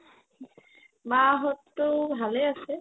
মা হততো ভালে আছে